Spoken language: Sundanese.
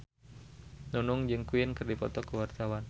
Nunung jeung Queen keur dipoto ku wartawan